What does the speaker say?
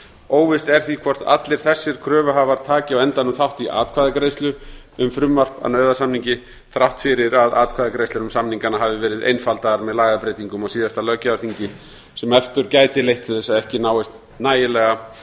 óvíst er því hvort allir þessir kröfuhafar taki á endanum þátt í atkvæðagreiðslu um frumvarp að nauðasamningi þrátt fyrir að atkvæðagreiðslu um samningana hafi verið einfaldaðar með lagabreytingum á síðasta löggjafarþingi sem aftur gæti leitt til þess að ekki náist nægilega